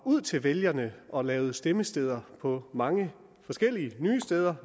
ud til vælgerne og lavede stemmesteder mange forskellige nye steder